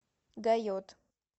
гайот